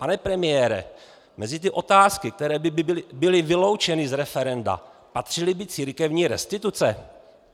Pane premiére, mezi ty otázky, které by byly vyloučeny z referenda, patřily by církevní restituce?